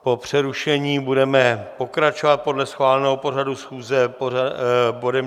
Po přerušení budeme pokračovat podle schváleného pořadu schůze bodem